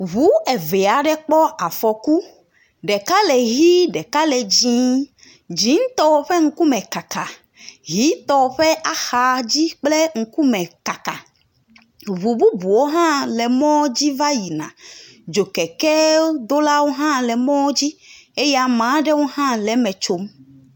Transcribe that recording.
Ŋu eve aɖe kpɔ afɔku. Ɖeka le ʋi ɖeka le dzi. dzitɔ ƒe ŋkume kaka, ʋitɔ ƒe axadzi kple ŋkume kaka. Ŋu bubuwo hã le mɔ dzi va yina. Dzokekedolawo hã le mɔ dzi eye ame aɖewo hã le eme tsom.